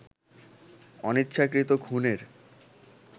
অনিচ্ছাকৃত খুনের